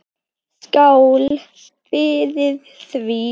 Skál fyrir því.